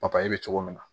papaye be cogo min na